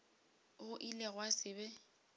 go ile gwa se be